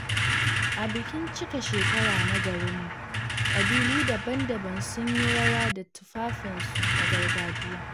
A bikin cika shekara na garinmu, kabilu daban-daban sun yi rawa da tufafinsu na gargajiya.